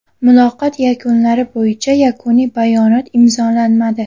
Muloqot yakunlari bo‘yicha yakuniy bayonot imzolanmadi.